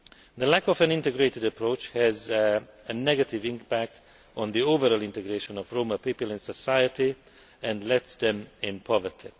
The lack of an integrated approach has a negative impact on the overall integration of Roma people in society and leaves them in poverty.